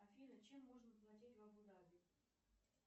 афина чем можно платить в абу даби